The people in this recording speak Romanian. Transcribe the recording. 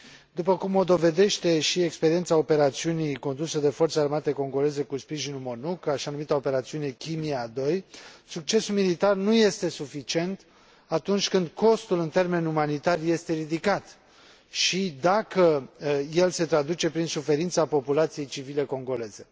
După cum o dovedește și experiența operațiunii condusă de forțele armate congoleze cu sprijinul MONUC, așa numita operațiune Kimia II, succesul militar nu este suficient atunci când costul în termeni umanitari este ridicat și dacă el se traduce prin suferința populației civile congoleze.